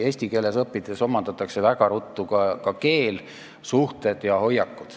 Eesti keeles õppides omandatakse väga ruttu ka keel, arenevad suhted ja hoiakud.